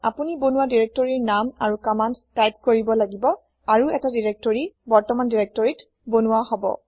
আপুনি বনোৱা দিৰেক্তৰিৰ নাম আৰু কমান্দ তাইপ কৰিব লাগিব আৰু ১টা দিৰেক্তৰি বৰ্তমান দিৰেক্তৰিত বনোৱা হব